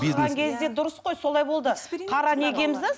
дұрыс қой солай болды қара не киеміз де